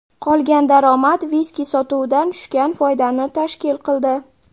Qolgan daromad viski sotuvidan tushgan foydani tashkil qildi.